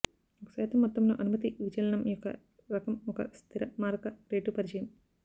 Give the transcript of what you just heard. ఒక శాతం మొత్తంలో అనుమతి విచలనం యొక్క రకం ఒక స్థిర మారక రేటు పరిచయం